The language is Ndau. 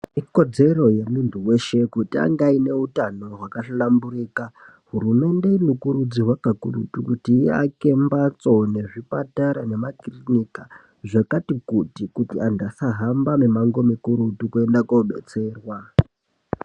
Ikodzero yemuntu weshe kuti ange aine hutano hwakahlamburika .Hurumende inokurudzirwa kakurutu kuti iake mbatso nezvipatara nemakirinika zvakati kuti antu asahambe mimango mikurutu kuenda kodetserwa.